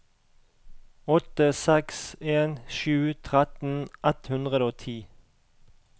åtte seks en sju tretten ett hundre og ti